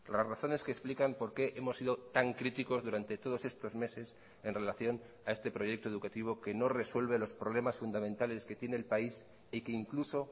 las razones que explican por qué hemos sido tan críticos durante todos estos meses en relación a este proyecto educativo que no resuelve los problemas fundamentales que tiene el país y que incluso